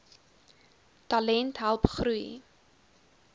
talent help groei